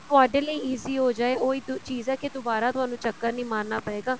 ਤੁਹਾਡੇ ਲਈ easy ਹੋ ਜਾਏ ਉਹ ਹੀ ਚੀਜ਼ ਹੈ ਕੀ ਦੁਬਾਰਾ ਤੁਹਾਨੂੰ ਚੱਕਰ ਨਹੀਂ ਮਾਰਨਾ ਪਏਗਾ